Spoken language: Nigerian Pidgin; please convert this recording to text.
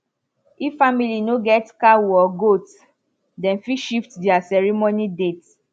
if family no get cow or goat dem fit shift their ceremony date